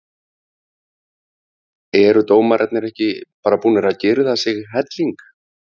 Eru dómarar ekki bara búnir að girða sig helling?